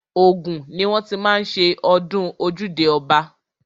Ògùn ni wọ́n ti má ń ṣe ọdún ojúde ọba.